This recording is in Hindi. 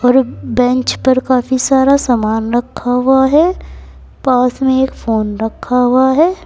और एक बेंच पे काफी सारा सामान रखा हुआ है पास में एक फोन रखा हुआ है।